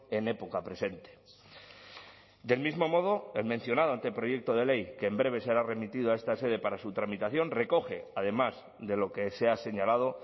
en época presente del mismo modo el mencionado anteproyecto de ley que en breve será remitido a esta sede para su tramitación recoge además de lo que se ha señalado